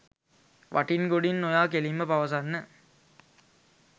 වටින් ගොඩින් නොයා කෙලින්ම පවසන්න.